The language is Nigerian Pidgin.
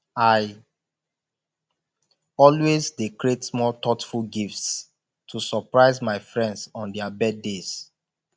i always dey create small thoughtful gifts to surprise my friends on their birthdays